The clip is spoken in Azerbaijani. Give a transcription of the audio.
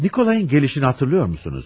Nikolayın gelişini hatırlıyormusunuz?